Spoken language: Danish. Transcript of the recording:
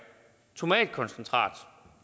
tomatkoncentrat